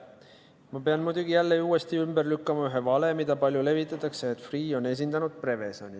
Ma pean muidugi jälle uuesti ümber lükkama ühe vale, mida palju levitatakse – selle, et Freeh on esindanud Prevezoni.